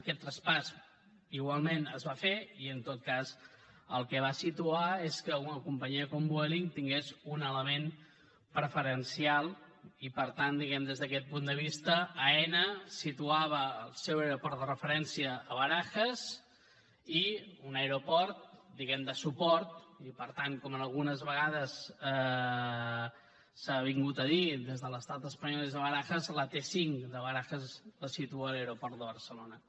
aquest traspàs igualment es va fer i en tot cas el que va situar és que una companyia com vueling tingués un element preferencial i per tant diguem ne des d’aquest punt de vista aena situava el seu aeroport de referència a barajas i un aeroport diguem ne de suport i per tant com algunes vegades s’ha dit des de l’estat espanyol i des de barajas la t cinc de barajas es situa a l’aeroport de barcelona